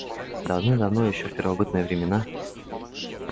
давным-давно ещё в первобытные времена